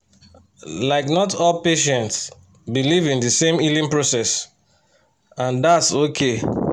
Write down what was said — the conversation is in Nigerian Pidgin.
like not all patients believe in the same healing process and that’s okay